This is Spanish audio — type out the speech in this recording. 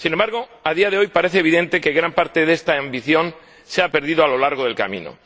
Sin embargo, a día de hoy, parece evidente que gran parte de esta ambición se ha perdido a lo largo del camino.